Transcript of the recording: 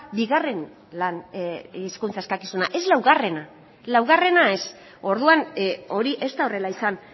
bigarren lan hizkuntza eskakizuna ez laugarrena laugarrena ez orduan hori ez da horrela izan